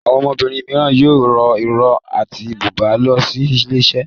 Àwọn obìrin míràn yóò rọ iró àti buba ló sí iṣẹlẹ.